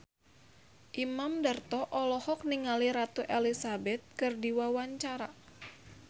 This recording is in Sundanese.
Imam Darto olohok ningali Ratu Elizabeth keur diwawancara